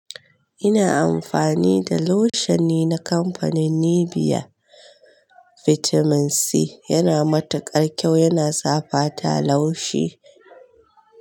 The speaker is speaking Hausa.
Ina amfani da lushion ne na kamfanin Nivea Vitamin C, yana matuƙar kyau, yana sa fata laushi.